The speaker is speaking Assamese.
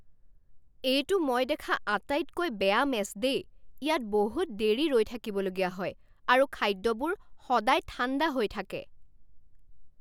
এইটো মই দেখা আটাইতকৈ বেয়া মেছ দেই। ইয়াত বহুত দেৰি ৰৈ থাকিবলগীয়া হয় আৰু খাদ্যবোৰ সদায় ঠাণ্ডা হৈ থাকে।